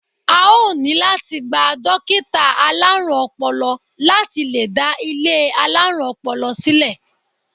A ó ní láti gba dókítà alárùn ọpọlọ láti lè dá ilé alárùn ọpọlọ sílẹ̀.